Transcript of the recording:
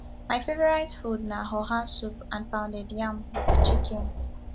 my favorite food na oha soup and pounded yam with chicken